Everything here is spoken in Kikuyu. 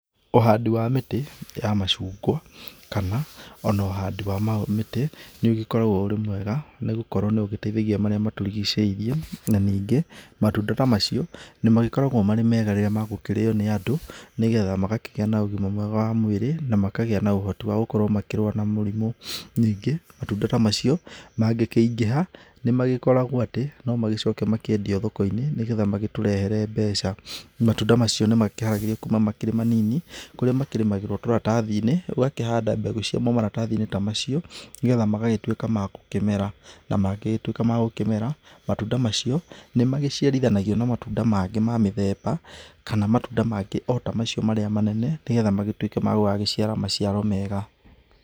Ũhandi wa mĩtĩ ya macungwa, kana ona ũhandi wa mĩtĩ, nĩ ũgĩkoragwo ũrĩ mwega nĩ gũkorwo nĩ ũgĩteithagia marĩa matũrĩgiceirie. Na ningĩ matunda ta macio nĩ magĩkoragwo marĩ mega rĩrĩa magũkĩrĩo nĩ andũ nĩgetha magakĩgĩa na ũgima mwega wa mwĩrĩ, na makagĩa na ũhoti wa gũkorwo makĩrũa na mũrimũ. Ningĩ matunda ta macio mangĩkĩingĩha nĩ magĩkoragwo atĩ no magĩcoke makĩendio thoko-inĩ, nĩgetha magĩtũrehere mbeca. Matunda macio nĩ makĩharagĩrio kuuma makĩrĩ manini, kũrĩa makĩrĩmagĩrwo tũratathi-inĩ, ũgakĩhanda mbegũ ciamo maratathi-inĩ ta macio, nĩgetha magagĩtũĩka ma gũkĩmera. Na mangĩgĩtuĩka ma gũkĩmera, matunda macio nĩ magĩciarithanagio na matunda mangĩ ma mĩthemba, kana matũnda mangĩ ota macio marĩa manene, nĩgetha magĩtuĩke magũgagĩciara maciaro mega.